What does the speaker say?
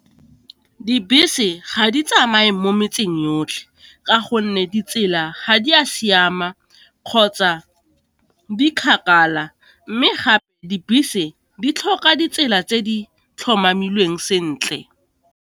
Dibese ga di tsamaye mo metseng yotlhe ka gonne ditsela ga di a siama kgotsa di kgakala, mme gape dibese di tlhoka ditsela tse di tlhomamilweng sentle.